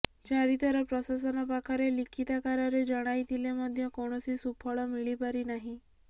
ଚାରିଥର ପ୍ରଶାସନ ପାଖରେ ଲିଖିତାକାରରେ ଜଣାଇଥିଲେ ମଧ୍ୟ କୌଣସି ସୁଫଳ ମିଳିପାରି ନାହିଁ